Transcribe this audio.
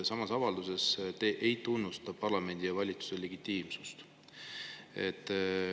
Selles avalduses te ei tunnusta parlamendi ja valitsuse legitiimsust.